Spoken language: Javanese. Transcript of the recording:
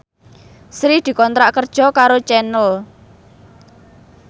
Sri dikontrak kerja karo Channel